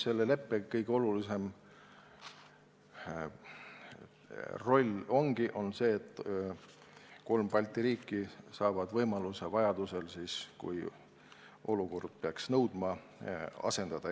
Selle leppe kõige olulisem roll on see, et kolm Balti riiki saavad võimaluse vajaduse korral, kui olukord peaks nõudma, üksteist asendada.